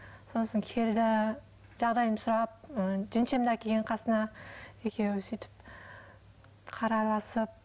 сосын келді жағдайымды сұрап ы жеңешемді әкелген қасына екеуі сөйтіп қарайласып